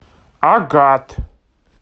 агат